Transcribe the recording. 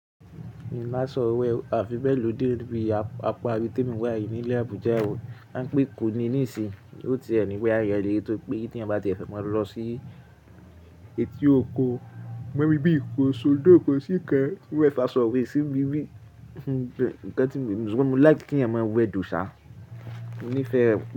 Mi máa sọ ọ̀wẹ́ a fi bẹ́ẹ̀ lò dé orí bi apá orí tí mo wà yìí ní ilẹ̀ Abuja o. Wọ́n ń pè kó ni níìsín, ó ti ẹni pé a yẹ lé e tó pé tí ẹ bá ti fẹ́ máa lọ sí eti oko, mọ́ ibi ìkóṣòó dóko síkan, ó fa sọ̀rẹ́ síbi bí. Ǹkan tí mi, ṣùgbọ́n mo láti kí ẹ̀má wẹ dùṣá, mo nífẹ̀ẹ́ ẹ.